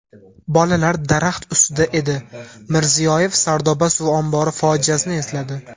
bolalar daraxt ustida edi – Mirziyoyev Sardoba suv ombori fojiasini esladi.